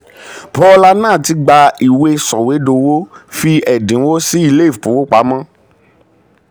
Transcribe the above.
bhola nath gba ìwé sọ̀wédowó fi ẹ̀dínwó sí ilé ìfowópamọ́.